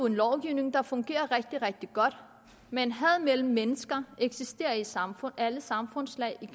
en lovgivning der fungerer rigtig rigtig godt men had mellem mennesker eksisterer i et samfund i alle samfundslag i